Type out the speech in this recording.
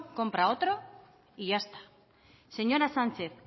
compra otro y ya está señora sánchez